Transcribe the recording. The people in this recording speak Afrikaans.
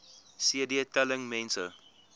cd telling mense